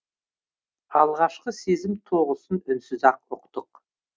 алғашқы сезім тоғысын үнсіз ақ ұқтық